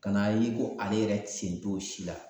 Ka n'a ye ko ale yɛrɛ sen t'o si la